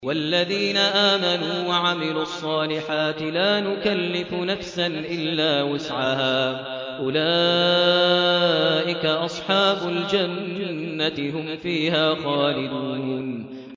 وَالَّذِينَ آمَنُوا وَعَمِلُوا الصَّالِحَاتِ لَا نُكَلِّفُ نَفْسًا إِلَّا وُسْعَهَا أُولَٰئِكَ أَصْحَابُ الْجَنَّةِ ۖ هُمْ فِيهَا خَالِدُونَ